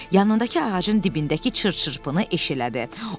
Yanındakı ağacın dibindəki çırt-çırtpını eşələdi.